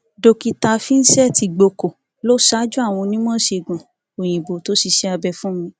dókítà vincent igbóko ló ṣáájú àwọn onímọìṣègùn òyìnbó tó ṣiṣẹ abẹ fún mi